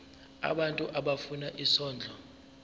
abantu abafuna isondlo